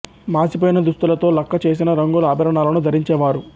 మాసి పోయిన దుస్తులతో లక్క చేసిన రంగుల ఆభరణాలను ధరించే వారు